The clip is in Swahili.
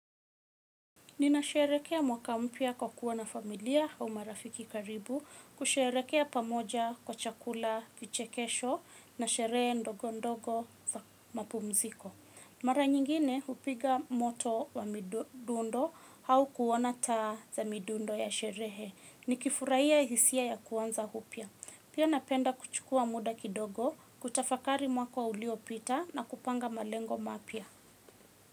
Ninasherekea mwaka mpya kwa kuwa na familia au marafiki karibu kusherehekea pamoja kwa chakula vichekesho na sherehe ndogo ndogo mapumziko. Mara nyingine hupiga moto wa midundo au kuona taa za midundo ya sherehe. Nikifurahia hisia ya kuanza upya. Pia napenda kuchukua muda kidogo kutafakari mwaka uliopita na kupanga malengo mapya.